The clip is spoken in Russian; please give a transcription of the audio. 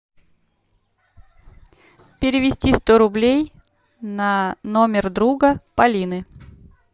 перевести сто рублей на номер друга полины